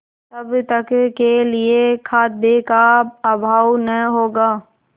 तब तक के लिए खाद्य का अभाव न होगा